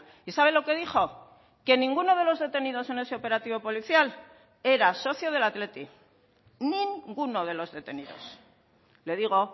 y sabe lo que dijo que ninguno de los detenidos en ese operativo policial era socio del athletic ninguno de los detenidos le digo